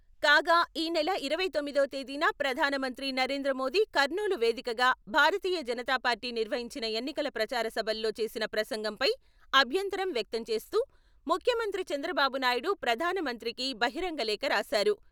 కాగా ఈనెల ఇరవై తొమ్మిదవ తేదీన ప్రధానమంత్రి నరేంద్రమోదీ కర్నూలు వేదికగా భారతీయ జనతాపార్టీ నిర్వహించిన ఎన్నికల ప్రచారసభల్లో చేసిన ప్రసంగంపై అభ్యంతరం వ్యక్తం చేస్తూ ముఖ్యమంత్రి చంద్రబాబునాయుడు ప్రధానమంత్రికి బహిరంగ లేఖ రాశారు.